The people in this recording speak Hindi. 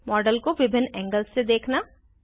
मॉडल को विभिन्न एंगल्स से देखना